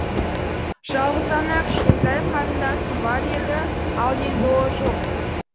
жалғыз ғана кішкентай қарындасым бар еді ал енді ол жоқ